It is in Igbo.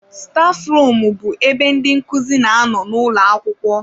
Staf rumu bụ ebe ndị nkuzi na-anọ n'ụlọ akwụkwọ.